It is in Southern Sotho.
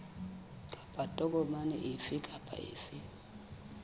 kapa tokomane efe kapa efe